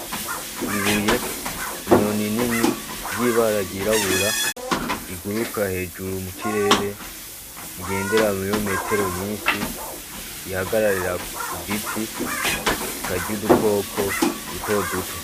Ibuye inyoni nini ry'ibara ryibabura iguruka hejuru mu kirere rigendera mu birometero nyinshi rihagararira ku giti ikarya udukoko dutoduto.